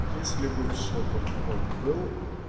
если бы в шопах он был